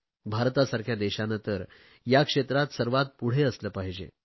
भारतासारख्या देशाने तर या क्षेत्रात सर्वात पुढे असले पाहिजे